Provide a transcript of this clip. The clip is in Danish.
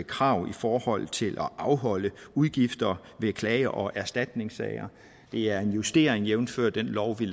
krav i forhold til at afholde udgifter ved klage og erstatningssager det er en justering jævnfør den lov vi